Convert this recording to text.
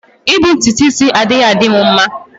I bu ntutu is anaghi adimu mma.